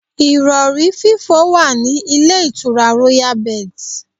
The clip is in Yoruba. Ìrọ̀rí fífò wà ní ilé ìtura Royal Birds.